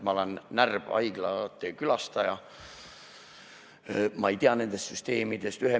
Ma olen närb haiglate külastaja, ma ei tea nendest süsteemidest midagi.